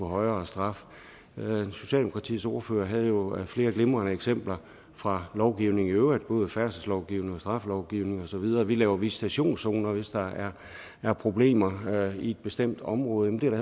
højere straf socialdemokratiets ordfører havde jo flere glimrende eksempler fra lovgivningen i øvrigt både færdselslovgivningen og straffelovgivningen og så videre vi laver visitationszoner hvis der er problemer i et bestemt område